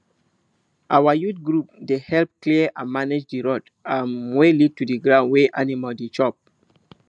our youth group dey help clear and manage the road um wey lead to the ground wey animal dey chop